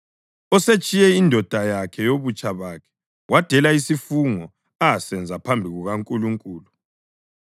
osetshiye indoda yakhe yobutsha bakhe wadela isifungo asenza phambi kukaNkulunkulu.